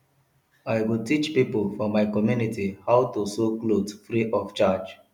i go teach pipo for my community how to sew clothe free of charge